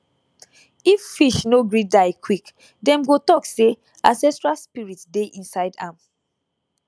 if fish no gree die quick dem go talk say ancestral spirit dey inside am